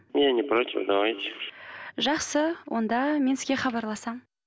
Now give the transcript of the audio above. я непротив давайте жақсы онда мен сізге хабарласамын